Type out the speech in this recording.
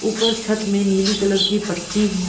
ऊपर छत्त में नीली कलर की पट्टी है।